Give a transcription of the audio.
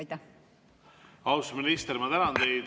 Austatud minister, ma tänan teid.